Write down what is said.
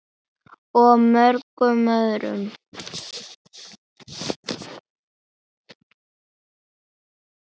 Og mörgum öðrum.